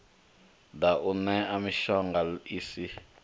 ḓa u ṋea mishonga isi